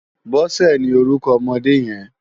Bose ni órúkò òmòdé yèn